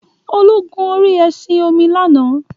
Olu gun orí ẹṣin-omi lánàá.